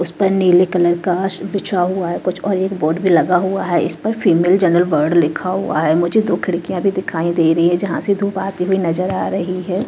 उस पर नीले कलर कांच बिछा हुआ है कुछ और एक बोर्ड भी लगा हुआ है इस पर फीमेल जनरल वार्ड लिखा हुआ है मुझे तो खिड़कियां भी दिखाई दे रही है जहां से धूप आती हुई नजर आ रही है।